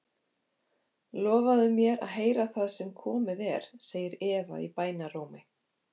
Lofaðu mér að heyra það sem komið er, segir Eva í bænarrómi.